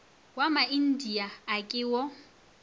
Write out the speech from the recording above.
wa maindia a ke wo